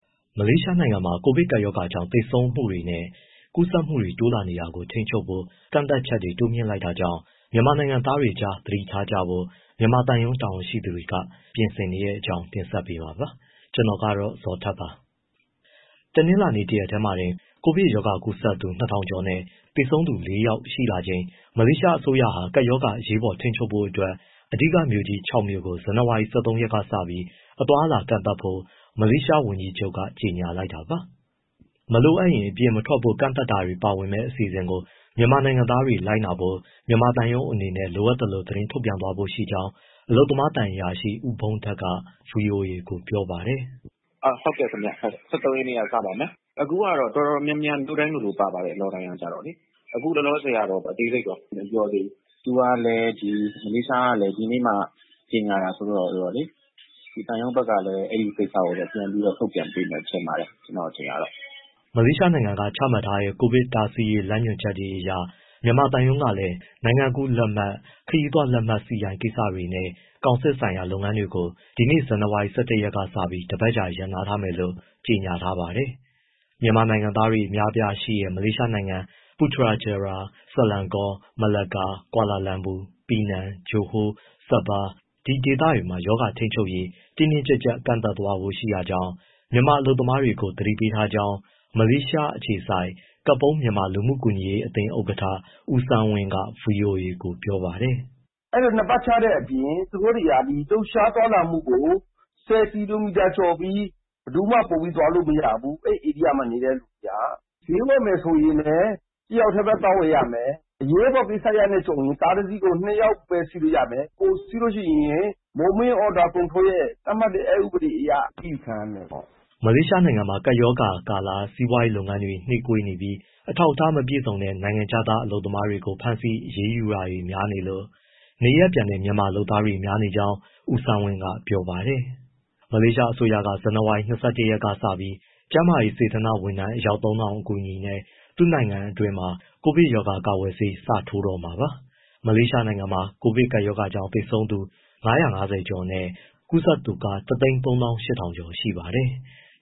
မလေးရှားနိုင်ငံမှာ ကိုဗစ်ကပ်ရောဂါကြောင့် သေဆုံးမှုတွေနဲ့ ကူးစက်မှုတွေ တိုးလာနေတာကို ထိန်းချုပ်ဖို့ ကန့်သတ်ချက်တွေ တိုးမြှင့်လိုက်တာကြောင့် မြန်မာနိုင်ငံသားတွေကြား သတိထားကြဖို့ မြန်မာသံရုံး တာဝန်ရှိသူတွေ ပြင်ဆင်နေတဲ့အကြောင်း တင်ဆက်ပေးမှာပါ၊ VOA သတင်းထောက် ကိုဇော်ထက် ပြောပြမှာပါ။ တနင်္လာနေ့ တရက်တည်းမှာတင် ကိုဗစ်ကူးစက်သူ ၂၀၀၀ ကျော်နဲ့ သေဆုံးသူ ၄ယောက် ရှိလာချိန် မလေးရှားအစိုးရဟာ ကပ်ရောဂါအရေးပေါ် ထိန်းချုပ်ဖို့အတွက် အဓိကမြို့ကြီး ၆ မြို့ကို ဇန်နဝါရီလ ၁၃ ရက်ကစပြီး အသွားအလာကန့်သတ်ဖို့ မလေးရှားဝန်ကြီးချုပ်က ကြေညာလိုက်တာပါ။ မလိုအပ်ရင် အပြင်မထွက်ဖို့ ကန့်သတ်တာတွေ ပါဝင်မယ့် အစီအစဉ်ကို မြန်မာနိုင်ငံသားတွေ လိုက်နာဖို့ မြန်မာသံရုံးအနေနဲ့ လိုအပ်သလို သတင်းထုတ်ပြန်သွားဖို့ရှိကြောင်း အလုပ်သမားသံအရာရှိ ဦးဘုန်းထက်က ဗွီအိုအေကို ပြောပါတယ်။ “ ဟုတ်ကဲ့ ၁၃ ရက်ကစပါမယ်၊ အခုကတော့ တော်တော်များများ မြို့တိုင်းလိုလို ပါပါတယ် lockdown က၊ အခုလောလောဆယ်တော့ အသေးစိတ်တော့ မပြောသေးဘူး၊ သူကလည်း မလေးရှားကလည်း ဒီနေ့မှ ကြေညာတာဆိုတော့ ဒီသံရုံးဘက်ကလည်း အဲဒီကိစ္စကို ပြန်ပြီးတော့ ထုတ်ပြန်ပေးမယ် ထင်ပါတယ်။” မလေးရှားနိုင်ငံက ချမှတ်ထားတဲ့ ကိုဗစ်တားဆီးရေး လမ်းညွှန်ချက်တွေအရ မြန်မာသံရုံးကလည်း နိုင်ငံကူးလက်မှတ်၊ ခရီးသွားလက်မှတ် CI ကိစ္စတွေနဲ့ ကောင်စစ်ဆိုင်ရာ လုပ်ငန်းတွေကို ဒီနေ့ ဇန်နဝါရီ ၁၁ ရက်ကစပြီး တပတ်ကြာ ယာယီရပ်နားထားမယ်လို့ ကြေညာထားပါတယ်။ မြန်မာနိုင်ငံသားတွေ အများအပြားရှိတဲ့ မလေးရှားနိုင်ငံ ပူထရာဂျာရာ၊ ဆလန်ကော၊ မလာကာ၊ ကွာလာလမ်ပူ၊ ပီနန်၊ ဂျိုဟိုး၊ ဆာဘား ဒေသတွေမှာ ရောဂါထိန်းချုပ်ရေး တင်းတင်းကြပ်ကြပ် ကန့်သတ်သွားဖို့ ရှိတာကြောင့် မြန်မာအလုပ်သမားတွေကို သတိပေးထားကြောင်း ‘ မလေးရှား အခြေစိုက် ကပုန်း’ မြန်မာလူမှုကူညီရေး အသင်း ဥက္ကဋ္ဌ ဦးဆန်းဝင်းက ဗွီအိုအေကို ပြောပါတယ်။ “ အဲဒီလို ( lockdown) နှစ်ပတ်ချတဲ့အပြင် သူတို့တွေက ဒီ လှုပ်ရှားသွားလာမှုကို ၁၀ ကီလိုမီတာကျော်ပြီး ဘယ်သူမှ ပိုပြီးသွားလို့ မရဘူး၊ အဲဒီ ဧရိယာမှာ နေတဲ့သူတွေက။ ဈေးဝယ်ရင်လည်း တယောက်တည်းပဲ သွားဝယ်ရမယ်၊ အရေးပေါ်ကိစ္စကြုံရင် ကားတစီးကို ၂ယောက်ပဲ စီးလို့ရမယ်၊ ပိုစီးရင် movement control order ရဲ့ သတ်မှတ်တဲ့ အက်ဥပဒေအရ အရေးယူခံရမယ်ပေါ့။” မလေးရှားနိုင်ငံမှာ ကပ်ရောဂါကာလ စီးပွားရေးလုပ်ငန်းတွေ နှေးကွေးနေပြီး အထောက်အထား မပြည့်စုံတဲ့ နိုင်ငံခြားသား အလုပ်သမားတွေကို ဖမ်းဆီးအရေးယူတာတွေလည်း များနေလို့ နေရပ်ပြန်တဲ့ မြန်မာလုပ်သားတွေ များနေကြောင်း ဦးဆန်းဝင်းက ပြောပါတယ်။ မလေးရှားအစိုးရက ဇန်နဝါရီ ၂၁ရက်ကစပြီး ကျန်းမာရေး စေတနာ့ဝန်ထမ်း အယောက် ၃၀၀၀ အကူအညီနဲ့ သူ့နိုင်ငံအတွင်းမှာ ကိုဗစ်ကာကွယ်ဆေး စပြီးထိုးတော့မှာပါ။ မလေးရှားနိုင်ငံမှာ ကိုဗစ်ကပ်ရောဂါကြောင့် သေဆုံးသူ ၅၅၀ ကျော်နဲ့ ကူးစက်သူ ၁၃၈၀၀၀ ကျော်ရှိပါတယ်။